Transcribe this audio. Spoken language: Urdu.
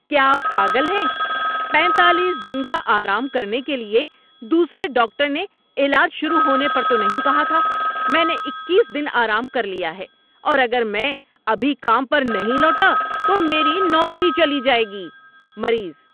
کیا آپ پاگل ہیں؟ پینتالیس دن کا آرام کرنے کے لیے دوسرے ڈاکٹر نے علاج شروع ہونے پر تو نہیں کہا تھا۔ میں نے اکیس دن آرام کر لیا ہے اور اگر میں ابھی کام پر نہیں لوٹا تو میری نوکری چلی جائے گی۔ (مریض)